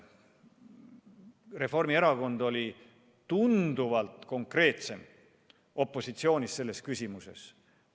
Reformierakond oli opositsioonis olles selles küsimuses tunduvalt konkreetsem.